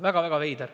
Väga-väga veider.